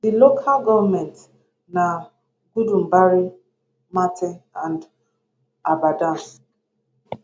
di local goments na gudumbari marte and abadam